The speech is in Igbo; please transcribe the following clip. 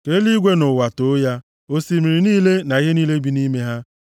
Ka eluigwe na ụwa too ya, osimiri niile na ihe niile bi nʼime ha.